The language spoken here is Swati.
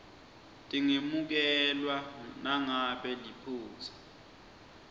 tingemukelwa nangabe liphutsa